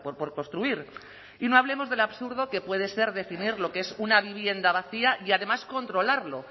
por construir y no hablemos del absurdo que puede ser definir lo que es una vivienda vacía y además controlarlo